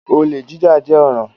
Olè jíjà jẹ́ ọ̀ràn.